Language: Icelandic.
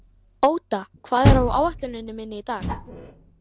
Óda, hvað er á áætluninni minni í dag?